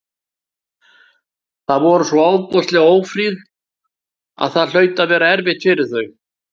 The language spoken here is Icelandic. Þau voru svo ofboðslega ófríð að það hlaut að vera erfitt fyrir þau.